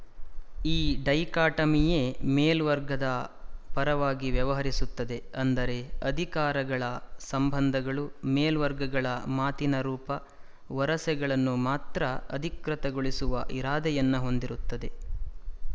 ಈ ಡೈಕಾಟಮಿಯೇ ಮೇಲ್ವರ್ಗಗಳ ಪರವಾಗಿ ವ್ಯವಹರಿಸುತ್ತದೆ ಅಂದರೆ ಅಧಿಕಾರಗಳ ಸಂಬಂಧಗಳು ಮೇಲ್ವರ್ಗಗಳ ಮಾತಿನ ರೂಪ ವರಸೆಗಳನ್ನು ಮಾತ್ರ ಅಧಿಕೃತಗೊಳಿಸುವ ಇರಾದೆಯನ್ನು ಹೊಂದಿರುತ್ತವೆ